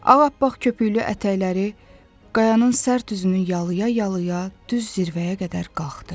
Ağappaq köpüklü ətəkləri qayanın sərt üzünü yalaya-yalaya düz zirvəyə qədər qalxdı.